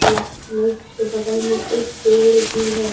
बगल में एक पेड़ भी है।